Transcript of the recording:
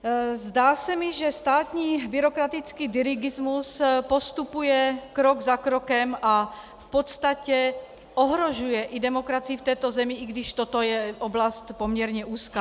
Zdá se mi, že státní byrokratický dirigismus postupuje krok za krokem a v podstatě ohrožuje i demokracii v této zemi, i když toto je oblast poměrně úzká.